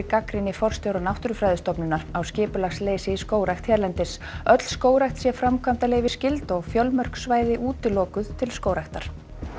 gagnrýni forstjóra Náttúrufræðistofnunar á skipulagsleysi í skógrækt hérlendis öll skógrækt sé framkvæmdaleyfisskyld og fjölmörg svæði útilokuð til skógræktar